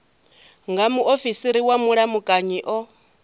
nga muofisiri wa vhulamukanyi o